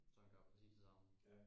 Så den gør præcis det samme